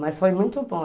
Mas foi muito bom.